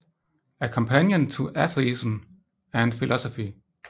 A Companion to Atheism and Philosophy